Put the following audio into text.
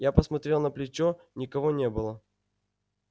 я посмотрел на плечо никого не было